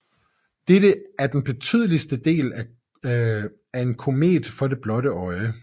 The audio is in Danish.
Dette er den tydeligste del af en komet for det blotte øje